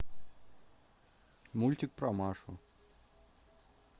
мультик про машу